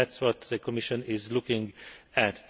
That is what the Commission is looking at.